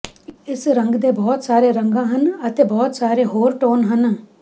ਇਸ ਰੰਗ ਦੇ ਬਹੁਤ ਸਾਰੇ ਰੰਗਾਂ ਹਨ ਅਤੇ ਬਹੁਤ ਸਾਰੇ ਹੋਰ ਟੋਨ ਹਨ